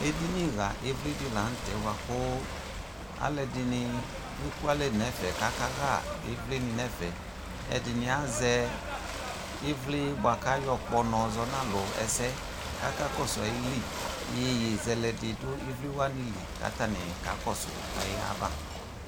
Ediniɣa ivli di la nʋ tɛ boa kʋ alʋ ɛdini ekualɛ nɛfɛ kakaɣa ivli ni nɛfɛ Ɛdini azɛ ivli boa kʋ ayɔkpɔ nɔ yɔzɔ n'alʋ ɛsɛ kʋ akakɔsʋ ayili Iyeyezɛlɛ di dʋ ivli wani li kʋ atani kakɔsʋ ayava